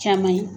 Caman ye